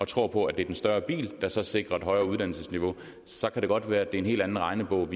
tror på at det er den større bil der så sikrer et højere uddannelsesniveau så kan det godt være at det er en helt anden regnebog